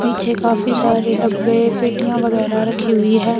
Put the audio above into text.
पीछे काफी सारे डब्बे पेटीयां वगैरह रखी हुई हैं।